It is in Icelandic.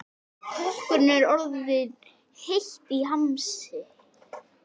Kokkinum er orðið heitt í hamsi.